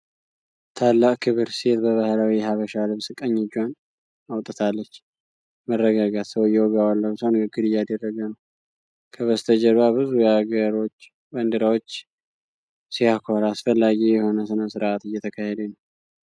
ታላቅ ክብር! ሴት በባህላዊ የሃበሻ ልብስ ቀኝ እጇን አውጥታለች። መረጋጋት። ሰውየው ጋውን ለብሶ ንግግር እያደረገ ነው። ከበስተጀርባ ብዙ የአገሮች ባንዲራዎች። ሲያኮራ! አስፈላጊ የሆነ ስነስርዓት እየተካሄደ ነው።